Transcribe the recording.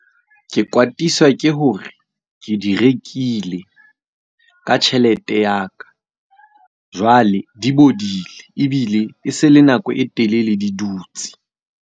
Ke kwatiswa ke hore, ke di rekile ka tjhelete ya ka. Jwale, di bodile ebile e se le nako e telele di dutsi.